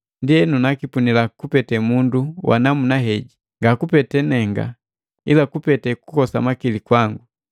Ndienu, nakipunila kupete mundu wa namuna jeheji, ngakupete nenga, ila kupete kukosa makili kwangu.